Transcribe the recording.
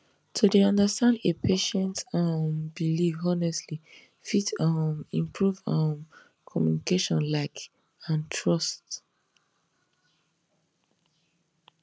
to dey understand a patient um belief honestly fit um improve um communication like and trust